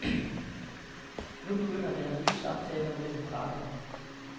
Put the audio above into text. Nu begynder der nye samtaler mellem parterne.